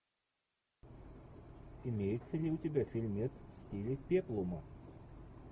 имеется ли у тебя фильмец в стиле пеплума